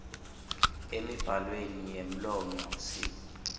emibhalweni yemlomo sib